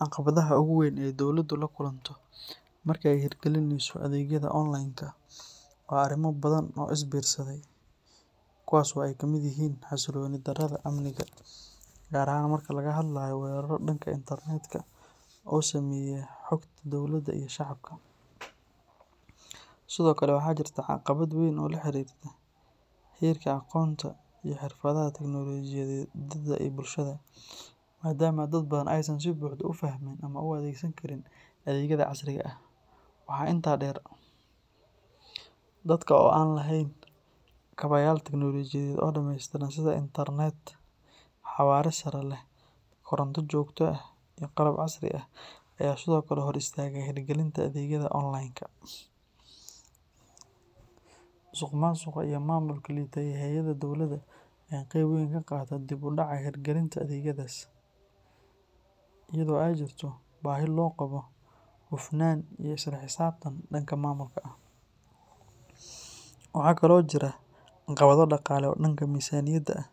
Caqabadaha ugu weyn ee dowladdu la kulanto marka ay hirgelinayso adeegyada online-ka waa arrimo badan oo is biirsaday, kuwaas oo ay ka mid yihiin xasilooni darrada amniga, gaar ahaan marka laga hadlayo weerarro dhanka internetka ah oo saameeya xogta dowladda iyo shacabka. Sidoo kale, waxaa jirta caqabad weyn oo la xiriirta heerka aqoonta iyo xirfadda tiknoolajiyadda ee bulshada, maadaama dad badan aysan si buuxda u fahmin ama u adeegsan karin adeegyada casriga ah. Waxaa intaa dheer, dalka oo aan lahayn kaabayaal tiknoolajiyadeed oo dhameystiran sida internet xawaare sare leh, koronto joogto ah, iyo qalab casri ah ayaa sidoo kale hor istaaga hirgelinta adeegyada online-ka. Musuqmaasuqa iyo maamulka liita ee hay’adaha dowladda ayaa qayb weyn ka qaata dib u dhaca hirgelinta adeegyadaas, iyadoo ay jirto baahi loo qabo hufnaan iyo isla xisaabtan dhanka maamulka ah. Waxaa kale oo jira caqabado dhaqaale oo dhanka miisaaniyadda ah,